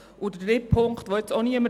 Der dritte Punkt betrifft das Geld.